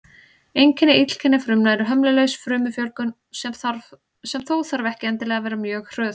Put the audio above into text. Einkenni illkynja frumna er hömlulaus frumufjölgun, sem þó þarf ekki endilega að vera mjög hröð.